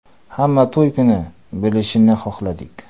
Hamma to‘y kuni bilishini xohladik.